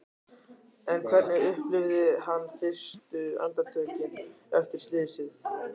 En hvernig upplifði hann fyrstu andartökin eftir slysið?